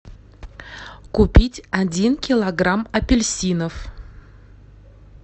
купить один килограмм апельсинов